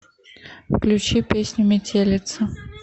включи песню метелица